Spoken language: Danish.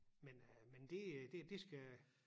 Men øh men det det det skal